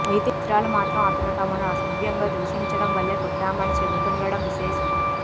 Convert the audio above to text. అయితే హిజ్రాలు మాత్రం అతను తమను అసభ్యంగా దూషించడం వల్లే కొట్టామని చెబుతుండడం విశేషం